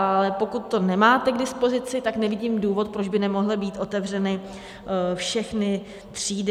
Ale pokud to nemáte k dispozici, tak nevidím důvod, proč by nemohly být otevřeny všechny třídy.